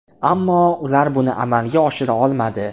Ammo ular buni amalga oshira olmadi.